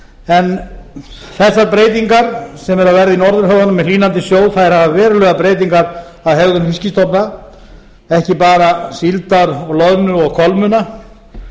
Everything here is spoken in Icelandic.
en þessar breytingar sem eru að verða í norðurhöfunum með hlýnandi sjó hafa verulegar breytingar á hegðun fiskstofna ekki bara síldar loðnu og kolmunna